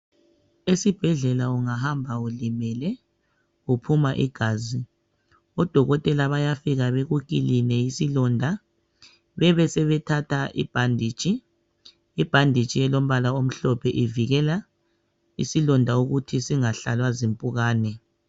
Esibhedlela ungahamba ulimele uphuma igazi odokotela bayafika beku kiline isilonda bebe sebethatha ibhanditshi. Ibhanditshi elombala omhlophe ivikela ukuthi isilonda singahlalwa zimpukane.